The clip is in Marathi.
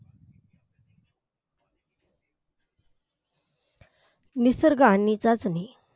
निसर्ग आणि चाचणी